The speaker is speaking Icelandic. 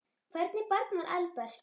Hvernig barn var Albert?